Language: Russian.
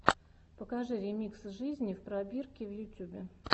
покажи ремикс жизни в пробирке в ютюбе